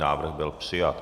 Návrh byl přijat.